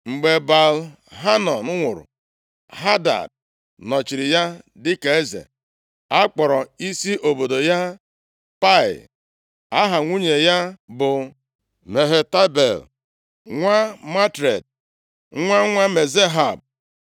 Mgbe Baal-Hanan nwụrụ, Hadad nọchiri ya dịka eze. Akpọrọ isi obodo ya Pai. Aha nwunye ya bụ Mehetabel, nwa Matred, nwa nwa Mezahab.